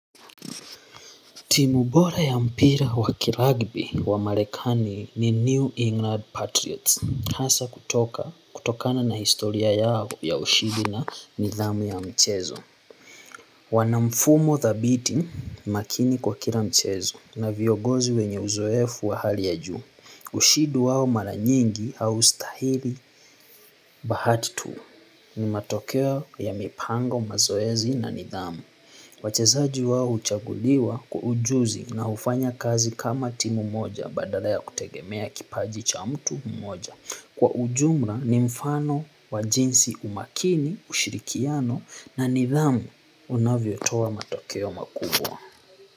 Timub ora ya mpira wakiragbi wa marekani ni New England Patriots hasa kutoka kutokana na historia yao ya ushindi na nidhamu ya mchezo wana mfumo dhabiti makini kwa kila mchezo. Na viongozi wenye uzoefu wa hali ya juu ushindi wao mara nyingi haustahili bahati tuu ni matokeo yamepangwa mazoezi na nidhamu wachezaji wao huchaguliwa kwaujuzi na hufanya kazi kama timu moja badala ya kutegemea kipaji cha mtu moja. Kwa ujumla ni mfano wa jinsi umakini ushirikiano na nidhamu unavyotoa matokeo makubwa.